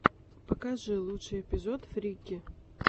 покажи лучший эпизод фрики